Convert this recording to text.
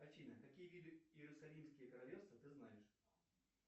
афина какие виды иерусалимские королевства ты знаешь